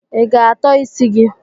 I ga-atọ isi gị?